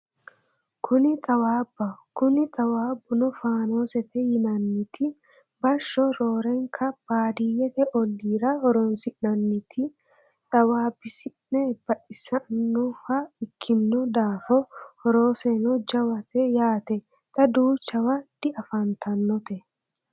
kuni xawaabba kuni xawaabbuno faanoosete yinanniti bashsho roorenka baadiyyete olliira horonsi'nannite xawaabbiseno baxisannoha ikkino daafo horoseno jawate yaate xa duuchawa diafantannote